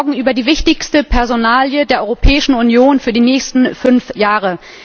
Wir reden morgen über die wichtigste Personalie der Europäischen Union für die nächsten fünf Jahre.